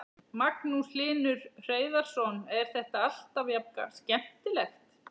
Magnús Hlynur Hreiðarsson: Er þetta alltaf jafn skemmtilegt?